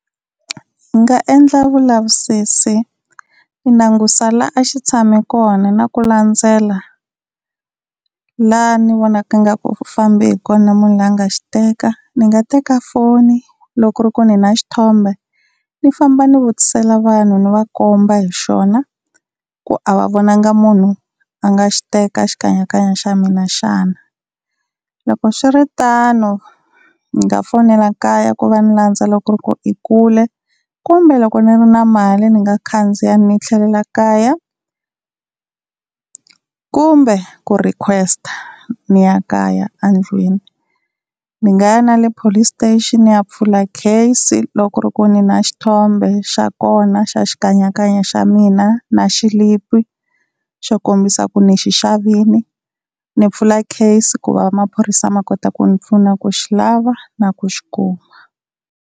Ni nga endla vulavisisi ni langusa la a xi tshame kona na ku landzela la ni vonaka ingaku u fambi hi kona munhu la nga xi teka. Ni nga teka foni loko ri ku ni na xithombe, ni famba ni vutisela vanhu ni va komba hi xona ku a va vonangi munhu a nga xi teka xikanyakanya xa mina xana. Loko swiritano ni nga fonela kaya ku va ni landza loko ku i kule, kumbe loko ni ri na mali ni nga khandziya ni tlhelela kaya, kumbe ku request-a ni ya kaya endlwini. Ni nga ya na le police station ni ya pfula case loko ku ri ku ni na xithombe xa kona xa xikanyakanya xa mina, na xilipi xo kombisa ku ni xi xavile ni pfula case ku va maphorisa ma kota ku ni pfuna ku xi lava na ku xi kuma.